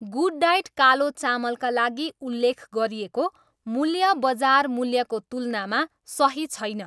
Good diet कालो चामल का लागि उल्लेख गरिएको मूल्य बजार मूल्यको तुलनामा सही छैन।